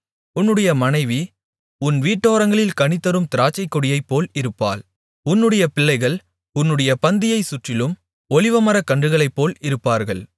உன்னுடைய மனைவி உன் வீட்டோரங்களில் கனிதரும் திராட்சைக்கொடியைப்போல் இருப்பாள் உன்னுடைய பிள்ளைகள் உன்னுடைய பந்தியைச் சுற்றிலும் ஒலிவமரக் கன்றுகளைப்போல் இருப்பார்கள்